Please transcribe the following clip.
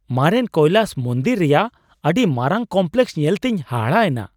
ᱢᱟᱨᱮᱱ ᱠᱳᱭᱞᱟᱥ ᱢᱚᱱᱫᱤᱨ ᱨᱮᱭᱟᱜ ᱟᱹᱰᱤ ᱢᱟᱨᱟᱝ ᱠᱚᱢᱯᱞᱮᱠᱥ ᱧᱮᱞᱛᱮᱧ ᱦᱟᱦᱟᱲᱟᱜ ᱮᱱᱟ ᱾